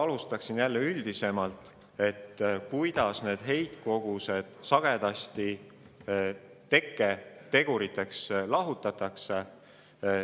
Alustaksin sellest, kuidas need heitkogused tekketeguriteks lahutatakse.